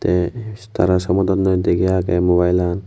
eh tara somodonnoi degey agey mobilean.